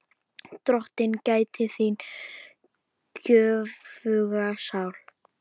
Drottin gæti þín göfuga sál.